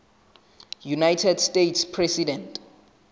united states president